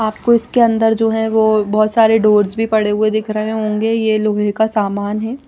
आपको इसके अंदर जो हैं वो बहुत सारे डोर्स भी पड़े हुए दिख रहे होंगे ये लोहे का सामान है।